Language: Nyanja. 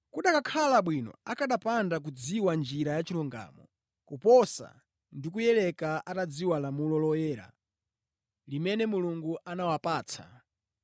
Kukanakhala bwino akanapanda kudziwa njira ya chilungamo, koposa ndi kuyileka atadziwa lamulo loyera limene Mulungu anawapatsa.